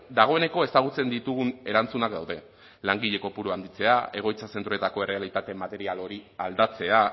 dagoeneko ezagutzen ditugun erantzunak daude langile kopurua handitzea egoitza zentroetako errealitate material hori aldatzea